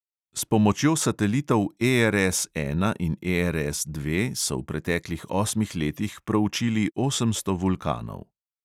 S pomočjo satelitov ERS ena in ERS dve so v preteklih osmih letih proučili osemsto vulkanov.